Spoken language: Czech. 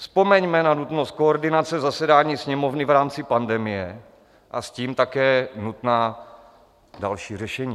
Vzpomeňme na nutnost koordinace zasedání Sněmovny v rámci pandemie a s tím také nutná další řešení.